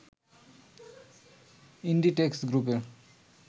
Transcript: Inditex গ্রুপের